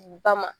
Ba ma